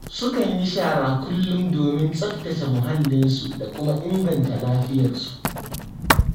Sukan yi shara kullum domin tsaftace muhallinsu da kuma ingata lafiyarsu.